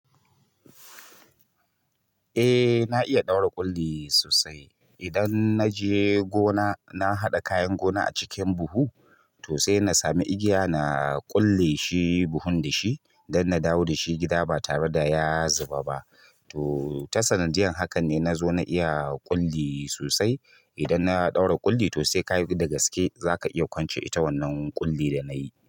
Eh na iya ɗaura ƙulli sosai. Idan na je gona na haɗa kayan gona a cikin buhu to sai na sami igiya na ƙulle shi buhun da shi don na dawo da shi gida ba tare da ya zuba ba. To ta sanadiyan hakan ne na zo na iya ƙulli sosai. Idan na ɗaura ƙulli to sai ka yi gaske za ka iya kwance ita wannan ƙulli da na yi.